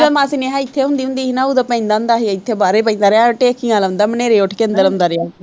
ਮਾਸੀ ਨੇਹਾਂ ਇੱਥੇ ਆਉਂਦੀ ਹੁੰਦੀ ਸੀ ਨਾ ਉਦੋਂ ਪੈਂਦਾ ਹੁੰਦਾ ਸੀ ਇੱਥੇ ਬਾਹਰੇ ਪੈਂਦਾ ਰਿਹਾ ਟੇਚੀਆਂ ਲਾਉਂਦਾ ਹਨੇਰੇ ਉੱਠ ਕੇ ਅੰਦਰ ਆਉਂਦਾ ਰਿਹਾ